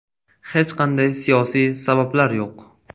Hech qanday siyosiy sabablar yo‘q.